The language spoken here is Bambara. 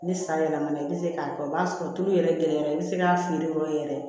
Ni san yɛlɛmana i bɛ se k'a kɛ i b'a sɔrɔ tulu yɛrɛ i bɛ se k'a feere yɔrɔ yɛrɛ